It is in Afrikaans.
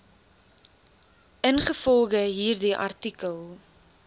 ingevolge hierdie artikel